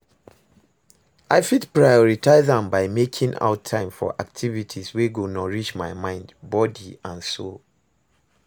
I fit prioritize am by making out time for activities wey go nourish my mind, body and soul.